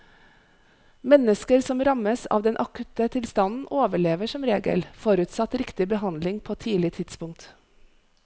Mennesker som rammes av den akutte tilstanden overlever som regel, forutsatt riktig behandling på tidlig tidspunkt.